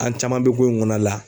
An caman be kon kɔɔna la